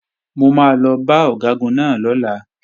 Mo máa lọ bá Ọ̀gágun náà lọ́la